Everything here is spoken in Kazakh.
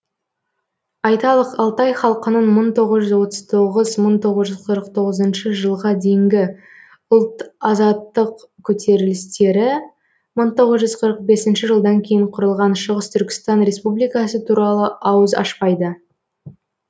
айталық алтай халқының мың тоғыз жүз отыз тоғыз мың тоғыз жүз қырық тоғызыншы жылға дейінгі ұлт азаттық көтерілістері мың тоғыз жүз қырық бесінші жылдан кейін құрылған шығыс түркістан республикасы туралы ауыз ашпайды